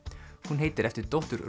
hún heitir eftir dóttur